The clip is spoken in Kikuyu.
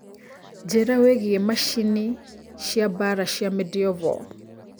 njĩira wĩigie macĩnĩ cia mbara cia medieval